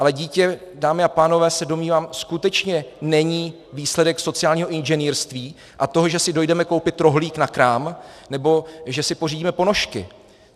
Ale dítě, dámy a pánové, se domnívám, skutečně není výsledek sociálního inženýrství a toho, že si dojdeme koupit rohlík na krám nebo že si pořídíme ponožky.